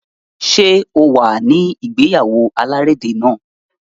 Ṣé o wà ní ìgéyáwó alárédè náà?